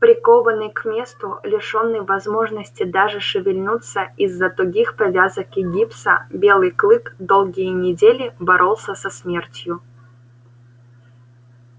прикованный к месту лишённый возможности даже шевельнуться из за тугих повязок и гипса белый клык долгие недели боролся со смертью